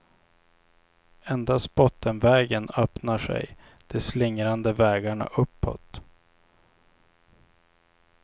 Endast bottenvägen öppnar sig de slingrande vägarna uppåt.